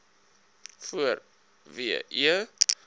voor w e